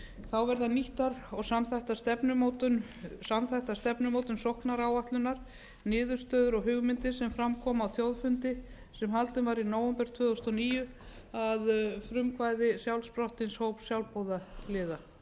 þá verða nýttar og samþættar stefnumótun sóknaráætlunar niðurstöður og hugmyndir sem fram komu á þjóðfundi sam haldinn var í nóvember tvö þúsund og níu að frumkvæði sjálfsprottins hóps sjálfboðaliða